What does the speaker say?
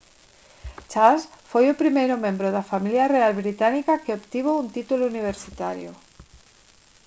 charles foi o primeiro membro da familia real británica que obtivo un título universitario